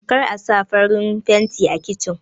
Kar Asa farin fanti a kichin